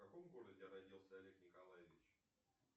в каком городе родился олег николаевич